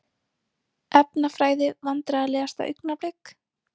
Efnafræði Vandræðalegasta augnablik?